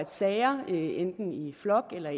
sager enten i flok eller